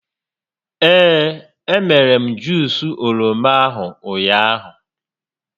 Ee, e mere m Juus oroma ahụ ụnyaahụ